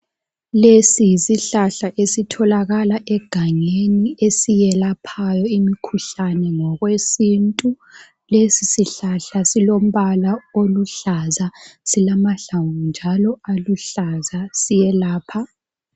Lesi yisihlahla esitholakala egangeni esiyelaphayo imikhuhlane ngokwesintu. Lesi sihlahla silombala oluhlaza ,silamahlamvu njalo aluhlaza siyelapha.